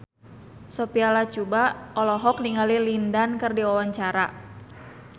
Sophia Latjuba olohok ningali Lin Dan keur diwawancara